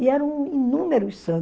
E eram inúmeros